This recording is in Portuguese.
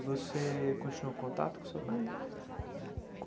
Você continuou contato com seu pai depois?